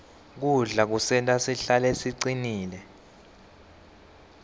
kudla kusenta sihlale sicinile